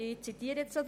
Ich zitiere daraus.